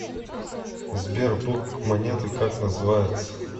сбер бок монеты как называется